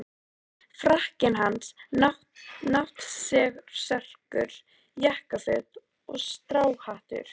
Frakkinn hans, náttserkur, jakkaföt og stráhattur.